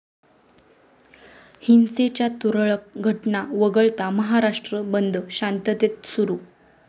हिंसेच्या तुरळक घटना वगळता महाराष्ट्र बंद शांततेत सुरू